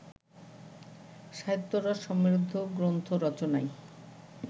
সাহিত্যরস সমৃদ্ধ গ্রন্থ রচনায়